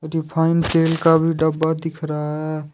Refine तेल का भी डब्बा दिख रहा है।